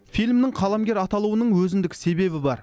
фильмнің қаламгер аталуының өзіндік себебі бар